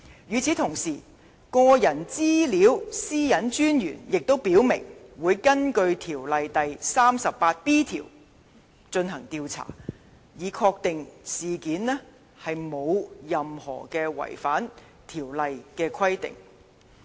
與此同時，個人資料私隱專員亦已表明，會根據條例第 38b 條進行調查，以確定事件沒有違反條例的任何規定。